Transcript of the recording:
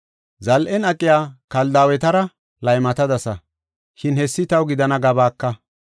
Zal7en aqiya Kaldaawetara laymatadasa, shin hessi taw gidana gabaaka.